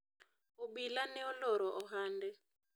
obila ne oloro ohande